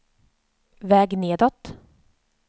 väg nedåt